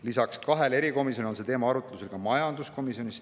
Lisaks kahele erikomisjonile on see teema arutlusel ka majanduskomisjonis.